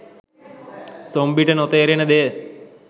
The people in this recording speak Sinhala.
සොම්බි ට නොතේරෙන දෙය.